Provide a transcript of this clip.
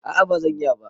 A a bazan iya ba.